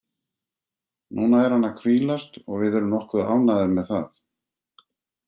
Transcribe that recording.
Núna er hann að hvílast og við erum nokkuð ánægðir með það.